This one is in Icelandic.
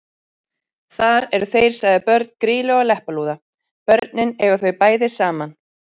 Þar eru þeir sagðir börn Grýlu og Leppalúða: Börnin eiga þau bæði saman